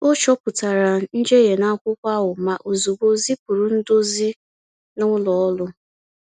O chopụtara njehie n’akwụkwọ ahụ ma ozugbo zipụrụ ndozi na ụlọ ọrụ.